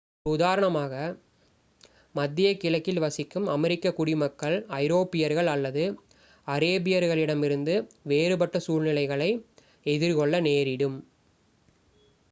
ஒரு உதாரணமாக மத்திய கிழக்கில் வசிக்கும் அமெரிக்க குடிமக்கள் ஐரோப்பியர்கள் அல்லது அரேபியர்களிடமிருந்து வேறுபட்ட சூழ்நிலைகளை எதிர்கொள்ள நேரிடும்